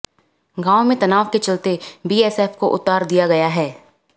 गांव में तनाव के चलते बीएसएफ को उतार दिया गया है